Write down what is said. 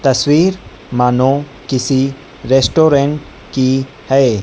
तस्वीर मानो किसी रेस्टोरेंट की है।